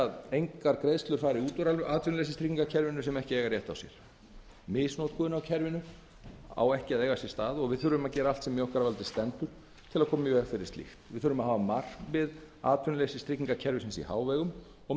að engar greiðslur fari út úr atvinnuleysistryggingakerfinu sem ekki eiga rétt á sér misnotkun á kerfinu má ekki eiga sér stað og við þurfum að gera allt sem í okkar valdi stendur að koma í veg fyrir slíkt við þurfum að hafa markmið atvinnuleysistryggingakerfisins í hávegum og